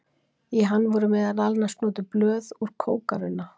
í hann voru meðal annars notuð blöð úr kókarunna